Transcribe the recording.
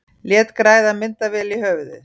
Lét græða myndavél í höfuðið